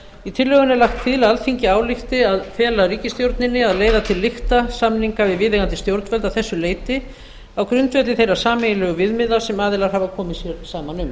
í tillögunni er lagt til að alþingi álykti að fela ríkisstjórninni að leiða til lykta samninga við viðeigandi stjórnvöld að þessu leyti á grundvelli þeirra sameiginlegu viðmiða sem aðilar hafa komið sér saman um